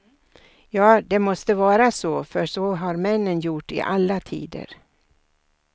Ja, det måste vara så för så har männen gjort i alla tider.